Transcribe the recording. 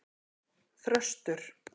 Þröstur